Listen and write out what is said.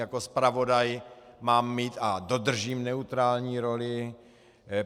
Jako zpravodaj mám mít a dodržím neutrální roli.